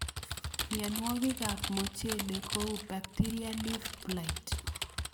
Mionwokikab mochelek ko kou Bacteria leaf blight.